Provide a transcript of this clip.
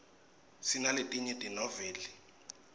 sinaletinye tenoveli